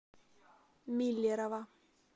миллерово